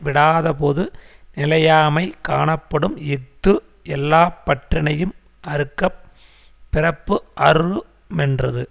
விடாதபோது நிலையாமை காணப்படும் இஃது எல்லா பற்றினையும் அறுக்கப் பிறப்பு அறு மென்றது